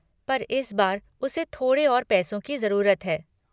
पर इस बार उसे थोड़े और पैसों की जरूरत है।